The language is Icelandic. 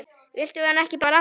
Viltu hana ekki bara alla?